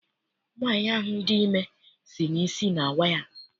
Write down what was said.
Nwaanyi ahụ dị ime si na isi na awa ya.